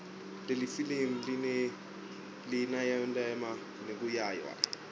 lelifilimu linayelana nekuiwaya